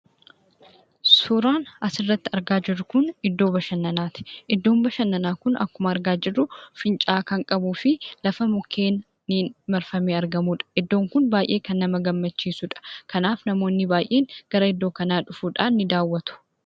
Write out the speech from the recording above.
Suuraan asirratti argaa jirru Kun, iddoo bashananaati. Iddoon bashananaa Kun akkuma argaa jirru, fincaa'aa kan qabuu fi lafa mukkeeniin marfamee argamudha. Iddoon kun baayyee kan nama gammachiisudha. Kanaaf namoonni baayyeen gara iddoo kanaa dhufuudhaan ni daawwatu.